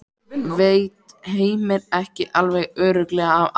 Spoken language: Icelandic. Veit Heimir ekki alveg örugglega af Adam?